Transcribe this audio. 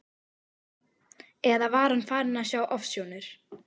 Eða var hann farinn að sjá ofsjónir?